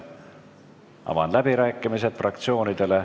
Avan fraktsioonide läbirääkimised.